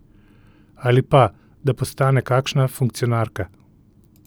Ali pa, da postane kakšna funkcionarka?